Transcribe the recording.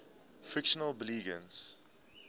fictional belgians